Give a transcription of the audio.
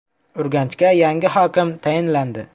Urganchga yangi hokim tayinlandi.